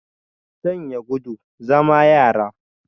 Sanya guda, zama yara